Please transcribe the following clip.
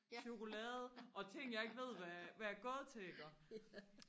chokolade og ting jeg ikke ved hvad hvad er gået til iggå